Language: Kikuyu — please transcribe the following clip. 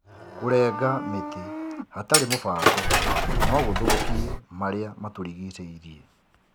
Kũrenga mĩtĩ hatarĩ mũbango no gũthũkie marĩa matũrigicĩirie.